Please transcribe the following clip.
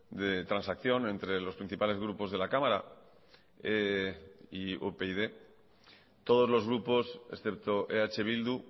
de transacción entre los principales grupos de la cámara y upyd todos los grupos excepto eh bildu